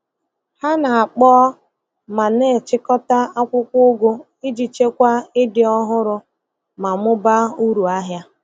Ha na-akpọọ ma na-achịkọta akwụkwọ ugu iji chekwaa ịdị ọhụrụ ma mụbaa uru ahịa.